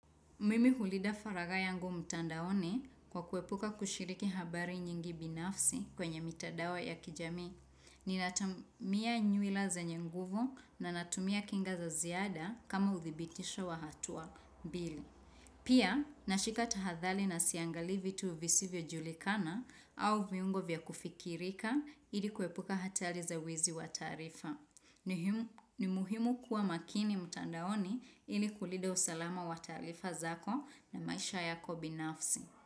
Mimi hulnida faragha yangu mtandaoni kwa kuepuka kushiriki habari nyingi binafsi kwenye mitandao ya kijamii. Ninatamia nywila zenye nguvu na natumia kinga za ziada kama udhibitisho wa hatua mbili. Pia, nashika tahadhari na siangalii vitu visivyojulikana au viungo vya kufikirika ili kuepuka hatari za wizi wa taarifa. Ni muhimu kuwa makini mtandaoni ili kulinda usalama wa taarifa zako na maisha yako binafsi.